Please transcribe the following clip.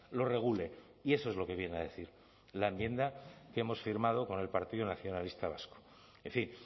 lo regule y eso es lo que viene a decir la enmienda que hemos firmado con el partido nacionalista vasco en fin